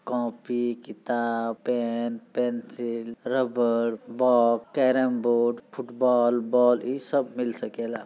Copy किताब pen pencil rubber box carrom board football ball इस सब मिल सकेला।